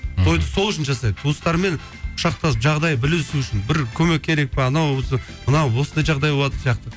тойды сол үшін жасайды туыстармен құшақтасып жағдай білісу үшін бір көмек керек пе анаусы мынау осындай жағдай болатын сияқты